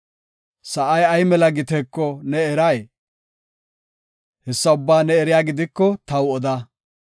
Sa7ay ay mela giteeko ne eray? Hessa ubbaa ne eriya gidiko taw oda.